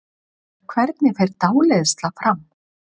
Hvernig fer dáleiðsla fram?